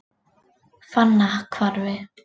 Fannahvarfi